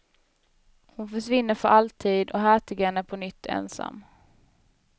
Hon försvinner för alltid, och hertigen är på nytt ensam.